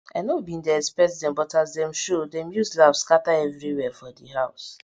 i nor bin dey expect dem but as dem show dem use laugh scatter everywhere for di house